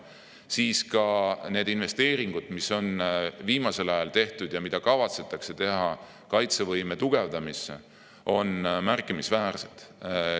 Samuti on investeeringud, mis on viimasel ajal tehtud ja mida kavatsetakse veel teha kaitsevõime tugevdamiseks, märkimisväärsed.